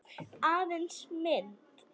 Aðeins mynd.